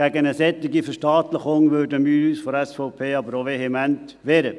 Gegen eine solche Verstaatlichung würden wir uns von der SVP aber auch vehement wehren.